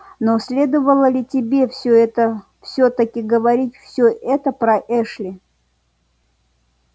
но следовало ли тебе всё это всё-таки говорить всё это про эшли